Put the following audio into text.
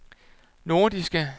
nordiske